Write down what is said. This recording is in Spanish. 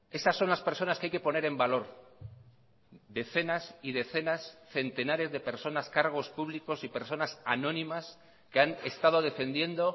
esas son las personas que hay que poner en valor decenas y decenas centenares de personas cargos públicos y personas anónimas que han estado defendiendo